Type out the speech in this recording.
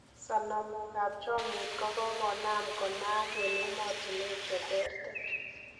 Sonomok ab chomyet kogogonam konaang' en emotunwek cheterter.